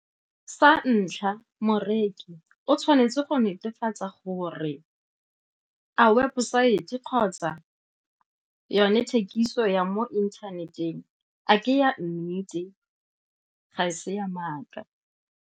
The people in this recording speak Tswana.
Sa ntlha, moreki o tshwanetse go netefatsa gore a websaete kgotsa yone thekiso ya mo inthaneteng a ke ya nnete, ga e se ya maaka.